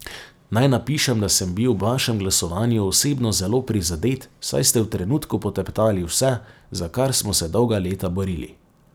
Naj napišem da sem bil ob vašem glasovanju osebno zelo prizadet, saj ste v trenutku poteptali vse, za kar smo se dolga leta borili.